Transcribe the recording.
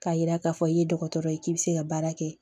K'a yira k'a fɔ i ye dɔgɔtɔrɔ ye k'i bɛ se ka baara kɛ